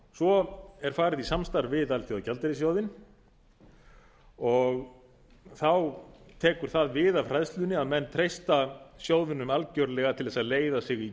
svo er farið í samstarf við alþjóðagjaldeyrissjóðinn og þá tekur það við af hræðslunni að menn treysta sjóðnum algerlega til að leiða sig í